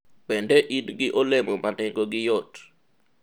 bende in gi olemo ma nengogi yot?